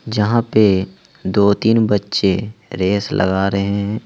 जहां पे दो तीन बच्चे रेस लगा रहे हैं।